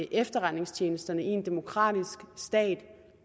efterretningstjenesterne i en demokratisk stat